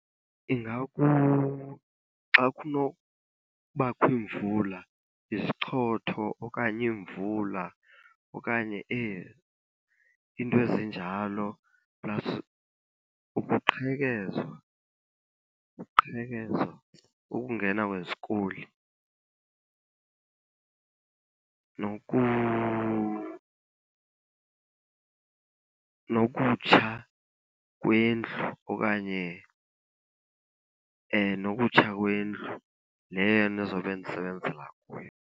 Xa kunobakho iimvula, izichotho okanye iimvula okanye iinto ezinjalo plus ukuqhekezwa, uqhekezwa, ukungena kwezikoli. Nokutsha kwendlu okanye nokutsha kwendlu leyo ndizobe ndisebenzela kuyo.